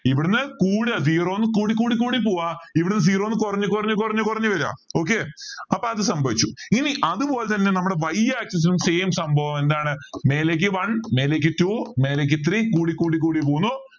ഇവിടുന്ന് കൂടാ zero ന്നെ കൂടി കൂടി പോവാ ഇവിടുന്ന് zero ന്ന് കുറഞ്ഞു കുറഞ്ഞു കുറഞ്ഞ് വരാ okay അപ്പോ അത് സംഭവിച്ചു ഇനി അതുപോലെതന്നെ നമ്മുടെ y axis same സംഭവം ആണ് എന്താണ് മേലേക്ക് one മേലേക്ക് two മേലേക്ക് three കൂടി കൂടി പോകുന്നു